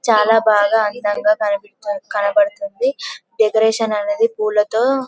చాల బాగా అందంగా కన కనబడ్తుంది డెకరేషన్ అనేది పూలతో